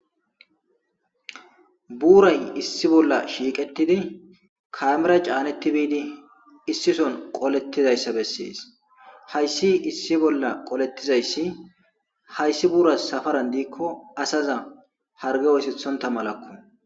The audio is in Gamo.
Burat isiso shiq utid kamera qanet biid qoletizaysa Beses. Hays issi bolla qoletizaysa hays buras safaran dikko asaza harge oysethonta malako.